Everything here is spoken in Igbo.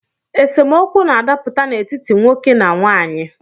Esemokwu na-adaputa n’etiti nwoke na nwaanyị